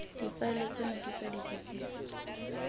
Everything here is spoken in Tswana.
difaele tseno ke tsa dipotsiso